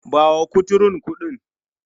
Ba wa kuturun kuɗin!.